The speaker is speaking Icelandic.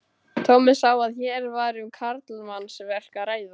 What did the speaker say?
Tommi sá að hér var um karlmannsverk að ræða.